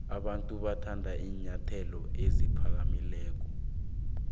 abantu bathanda iinyathelo eziphakamileyo